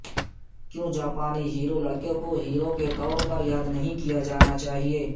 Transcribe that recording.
کیوں جاپانی ہیرو نو لڑکے کو ہیرو کے طور پر یاد نہیں کیا جانا چاہئے